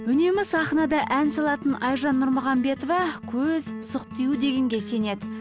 үнемі сахнада ән салатын айжан нұрмағамбетова көз сұқ тию дегенге сенеді